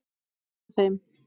Að vera með þeim.